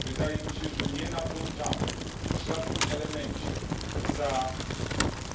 Wydaje mi się, że nie nadążamy w żadnym elemencie za